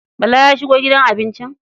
Bala ya shigo gidan abincin?